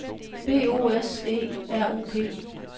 B O S E R U P